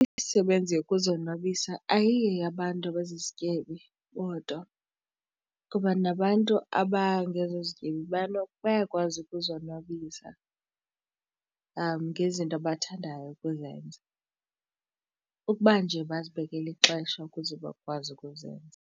Imisebenzi yokuzonwabisa ayiyo yabantu abazizityebi bodwa kuba nabantu abangazozityebi bayakwazi ukuzonwabisa ngezinto abathandayo ukuzenza ukuba nje bazibekele ixesha ukuze bakwazi ukuzenza.